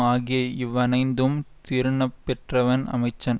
ஆகிய இவ்வனைந்தும் திருந்தப்பெற்றவன் அமைச்சன்